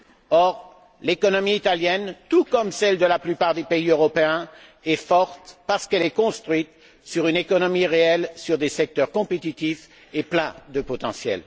Or, l'économie italienne, tout comme celle de la plupart des pays européens, est forte parce qu'elle est construite sur une économie réelle, sur des secteurs compétitifs et pleins de potentiel.